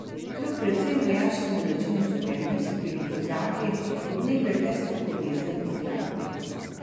Kljub predvsem vojaškemu načinu življenja so bili kozaki od nekdaj tesno povezani z glasbo.